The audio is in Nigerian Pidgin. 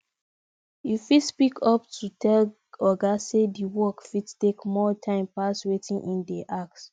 you fit speak up tell oga sey di work fit take more time pass wetin im dey ask